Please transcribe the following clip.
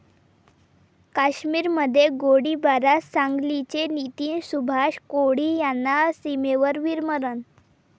काश्मिरमध्ये गोळीबारात सांगलीचे नितीन सुभाष कोळी यांना सीमेवर वीरमरण